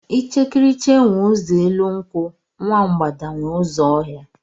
Ichekiriche nwe eze elu nkwụ, nwa mbgada nwe ụzọ ọhịa.